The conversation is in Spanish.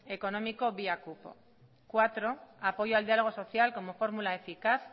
económico vía cupo cuatro apoyo al diálogo social como fórmula eficaz